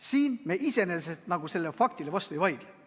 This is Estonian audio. Siin me iseenesest sellele faktile vastu ei vaidle.